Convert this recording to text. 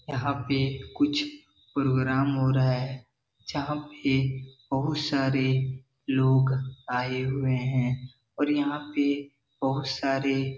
यहाँ पे कुछ पोग्राम हो रहा है जहाँ पे बहुत सारे लोग आए हुये हैं और यहाँ पे बहोत सारे --